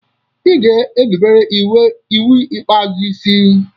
Ị ga erubere iwu ikpeazụ isi.